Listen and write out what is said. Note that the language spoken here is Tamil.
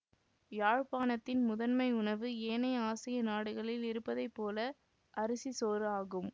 யாழ்ப்பாணத்தின் முதன்மை உணவு ஏனைய ஆசிய நாடுகளில் இருப்பதை போல அரிசி சோறு ஆகும்